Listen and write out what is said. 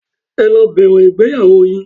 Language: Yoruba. Ẹ lọ bẹ̀rẹ̀ ìgbéyàwó yín.